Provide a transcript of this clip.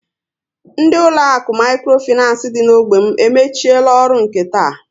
Ndị uloaku mikro financé dị n'ógbè m emechiela ọrụ nke taa